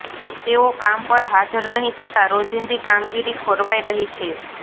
તેઓ કામ પર હાજર નહિ થતા રોજિંદી કામગીરી ખોરવાઇ રહી છે